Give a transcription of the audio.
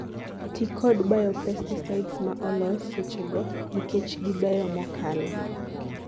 tii kod biopesticides maa olos sechego nikech gibeyo mokalo